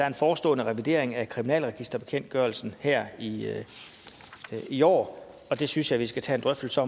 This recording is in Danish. en forestående revidering af kriminalregisterbekendtgørelsen her i i år og det synes jeg vi skal tage en drøftelse